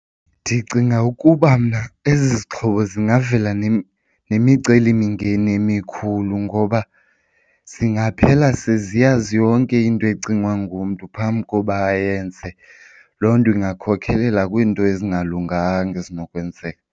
Ndicinga ukuba mna ezi zixhobo zingavela nemicelimingeni emikhulu ngoba zingaphela seziyazi yonke into ecingwa ngumntu phambi koba ayenze. Loo nto ingakhokhelela kwiinto ezingalunganga ezinokwenzeka.